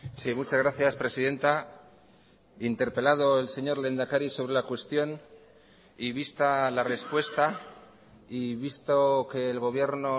sí muchas gracias presidenta interpelado el señor lehendakari sobre la cuestión y vista la respuesta y visto que el gobierno